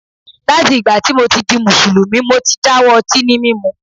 Láti ìgbà tí mo ti di Mùsùlùmí, mo ti dáwọ́ ọtí ní mímu.